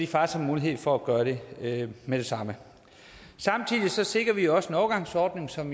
faktisk mulighed for at gøre det med det samme samtidig sikrer vi også en overgangsordning som